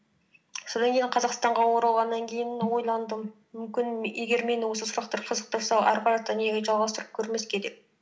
содан кейін қазақстанға оралғаннан кейін ойландым мүмкін егер мені осы сұрақтар қызықтырса ары қарата неге жалғастырып көрмеске деп